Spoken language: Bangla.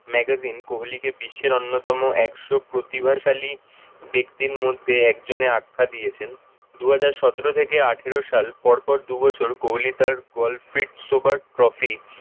magazine কোহলিকে বিশ্বের অন্যতম একশো প্রতিভাশালী ব্যক্তির মধ্যে একজনে আখ্যা দিয়েছেন। দুহাজার সতেরো থেকে আঠারো সাল পর পর দুবছর কোহলি তার golfit super trophy